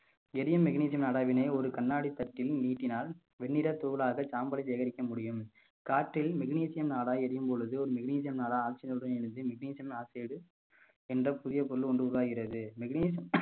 எரியும் magnesium நாடாவினை ஒரு கண்ணாடித் தட்டில் நீட்டினால் வெண்ணிறத் தூளாக சாம்பலை சேகரிக்க முடியும் காற்றில் magnesium நாடா எரியும் பொழுது ஒரு magnesium நாடா oxygen னுடன் இணைந்து magnesium oxide என்ற புதிய பொருள் ஒன்று உருவாகிறது magnes~